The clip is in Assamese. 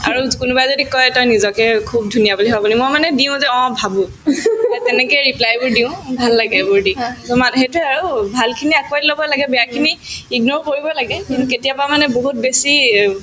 এ তেনেকে reply বোৰ দিও ভাল লাগে এইবোৰ দি so মানহ সেইটোয়ে আৰু ভালখিনি আকোৱালি লব লাগে বেয়াখিনি ignore কৰিবয়ে লাগে কিন্তু কেতিয়াবা মানে বহুত বেছি